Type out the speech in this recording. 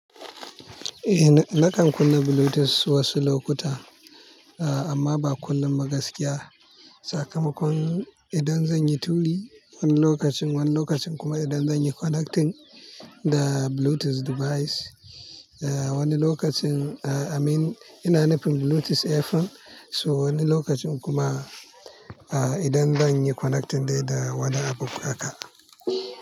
Eh, na kan kunna Bluetooth wasu lokuta amma ba kullum ba gaskiya. Sakamakon idan zan yi turi wani lokacin, wani lokacin kuma idan zan yi connecting da Bluetooth device. Wani lokacin, I mean ina nufin Bluetooth earphone. So wani lokacin kuma idan zan yi connecting dai da wani abu haka.